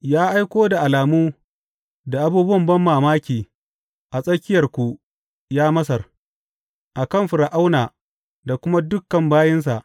Ya aiko da alamu da abubuwan banmamaki a tsirkiyarku, ya Masar, a kan Fir’auna da kuma dukan bayinsa.